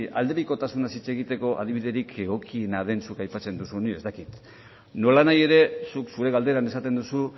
aldebikotasunez hitz egiteko adibiderik egokiena den zuk aipatzen duzuna ez dakit nolanahi ere zuk zure galderan esaten duzu